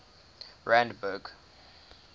randburg